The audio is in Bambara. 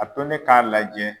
A to ne ka lajɛ